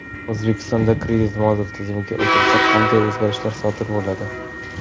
O‘zbekistonda kredit-modul tizimiga o‘tilsa qanday o‘zgarishlar sodir bo‘ladi?.